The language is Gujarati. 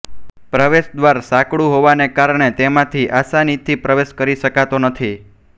પ્રવેશ દ્વાર સાંકડું હોવાને કારણે તેમાંથી આસાનીથી પ્રવેશ કરી શકાતો નથી